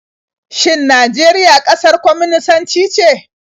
Shin Najeriya ƙasar kwaminisanci ce?